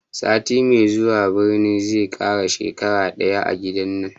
Sati mai zuwa birin zai kai shekara ɗaya a gidan nan